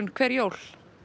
hver jól